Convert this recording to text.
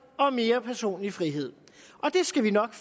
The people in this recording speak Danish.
og mere personlig frihed og det skal vi nok